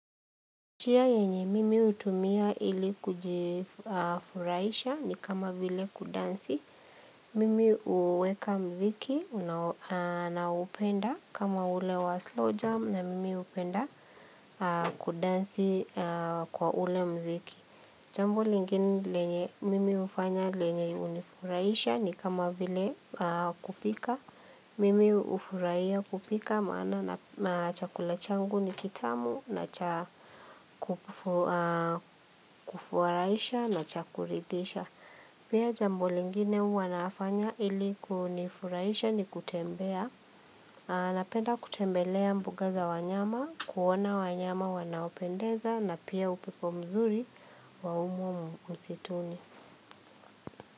Njia yenye mimi hutumia ili kujifurahisha ni kama vile kudansi, mimi huweka muziki ninaopenda kama ule wa slow jam na mimi hupenda kudansi kwa ule muziki. Jambo lingine lenye mimi hufanya lenye hunifuraisha ni kama vile kupika, mimi hufurahiya kupika maana na chakula changu ni kitamu na cha kufurahisha na cha kuridhisha. Pia jambo lingine huwa nafanya ili kunifurahisha ni kutembea. Napenda kutembelea mbuga za wanyama, kuona wanyama wanaopendeza na pia upepo mzuri wa humo msituni.